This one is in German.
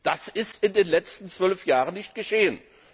Das ist in den letzten zwölf Jahren nicht geschehen.